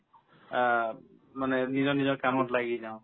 আ, মানে নিজৰ নিজৰ কামত লাগি যাও